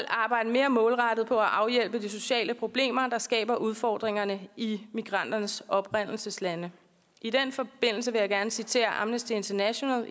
arbejde mere målrettet på at afhjælpe de sociale problemer der skaber udfordringerne i migranternes oprindelseslande i den forbindelse vil jeg gerne citere amnesty internationals